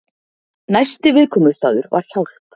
Næsti viðkomustaður var Hjálp.